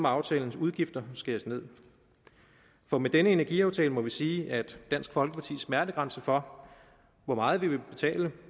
aftalens udgifter skæres ned for med denne energiaftale må vi sige at dansk folkepartis smertegrænse for hvor meget vi vil betale